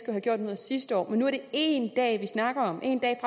have gjort noget sidste år men nu er det én dag vi snakker om én dag